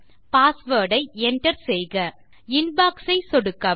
password ஐ Enter செய்க inbox ஐ சொடுக்கவும்